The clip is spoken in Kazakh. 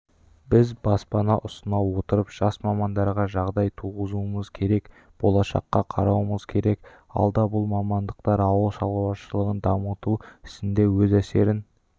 біз баспана ұсына отырып жас мамандарға жағдай туғызуымыз керек болашаққа қарауымыз керек алда бұл мамандықтар ауыл шаруашылығын дамыту ісінде өз әсерін